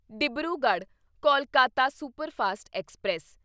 Dibrugarh Kolkata superfast express